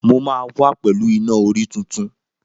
Mo máa wá pẹ̀lú Iná-orí tuntun.